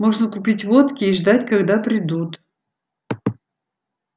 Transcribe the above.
можно купить водки и ждать когда придут